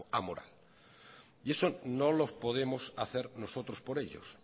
amoral eso no lo podemos hacer nosotros por ellos